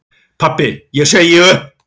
Pabbi ég segi upp!